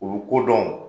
U bɛ ko dɔn